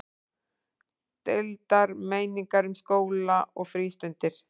Deildar meiningar um skóla og frístundir